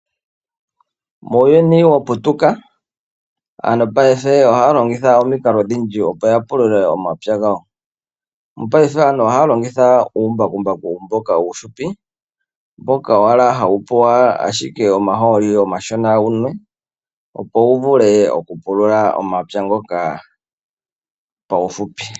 Muuyuni wa putuka aantu paife ohaya longitha odhindji opo ya pulule omapya gawo. Mopaife aantu ohaya longitha uumbakumbaku mboka uushupi mboka owala hawu pula ashike omaholi omashona wunwe opo wu vule okupulula omapya ngoka paufupi.